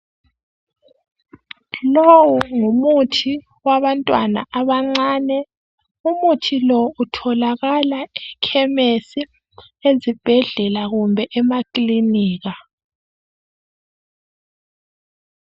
Lowu ngumuthi wabantwana abancane. Umuthi lo utholakala ekhemisi ezibhedlela kumbe emakilinika.